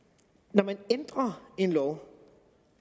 når man ændrer en lov